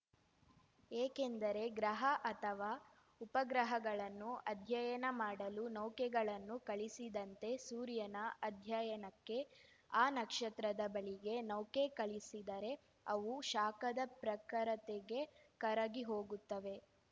ಏಕೆಂದರೆ ಗ್ರಹ ಅಥವಾ ಉಪಗ್ರಹಗಳನ್ನು ಅಧ್ಯಯನ ಮಾಡಲು ನೌಕೆಗಳನ್ನು ಕಳಿಸಿದಂತೆ ಸೂರ್ಯನ ಅಧ್ಯಯನಕ್ಕೆ ಆ ನಕ್ಷತ್ರದ ಬಳಿಗೆ ನೌಕೆ ಕಳಿಸಿದರೆ ಅವು ಶಾಖದ ಪ್ರಖರತೆಗೆ ಕರಗಿಹೋಗುತ್ತವೆ